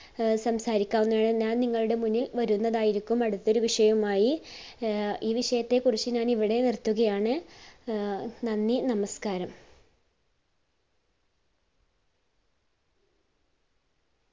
ആഹ് സംസാരിക്കാൻ ഞാഞാൻ നിങ്ങളുടെ മുന്നിൽ വരുന്നതായിരിക്കും അടുത്തൊരു വിഷയവുമായി. ആഹ് ഈ വിഷയത്തെ കുറിച്ച് ഞാൻ ഇവിടെ നിർത്തുകയാണ്. ആഹ് നന്ദി, നമസ്‍കാരം.